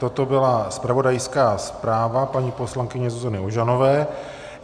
Toto byla zpravodajská zpráva paní poslankyně Zuzany Ožanové.